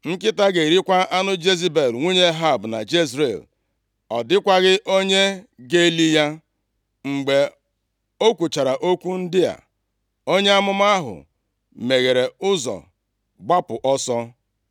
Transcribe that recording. Nkịta ga-erikwa anụ Jezebel nwunye Ehab na Jezril. Ọ dịkwaghị onye ga-eli ya.’ ” Mgbe o kwuchara okwu ndị a, onye amụma ahụ meghere ụzọ gbapụ ọsọ.